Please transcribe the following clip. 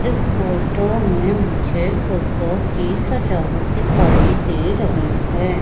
इस फोटो में मुझे फुग्गो की सजावट दिखाई दे रही है।